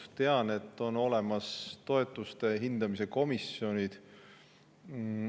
Ma tean, et on olemas toetuste hindamise komisjonid.